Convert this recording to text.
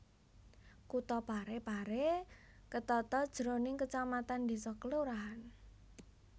Kutha Pare Pare ketata jroning kecamatan desa kelurahan